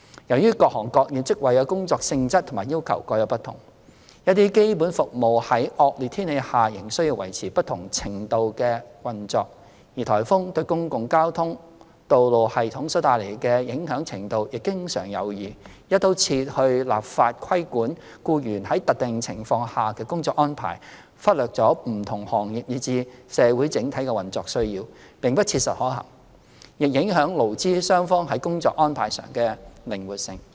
由於各行各業職位的工作性質和要求各有不同，一些基本服務在惡劣天氣下仍需維持不同程度的運作，而颱風對公共交通和道路系統所帶來的影響程度亦經常有異，"一刀切"地立法規管僱員在特定情況下的工作安排，忽略了不同行業以至社會整體的運作需要，並不切實可行，亦影響勞資雙方在工作安排上的靈活性。